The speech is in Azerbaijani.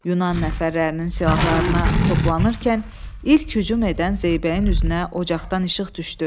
Yunan nəfərlərinin silahlarına toplanarkən ilk hücum edən Zeybəyin üzünə ocaqdan işıq düşdü.